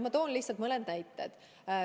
Ma toon lihtsalt mõne näite.